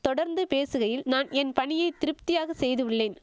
தொடர்ந்து பேசுகையில் நான் என் பணியை திருப்தியாக செய்துள்ளேன்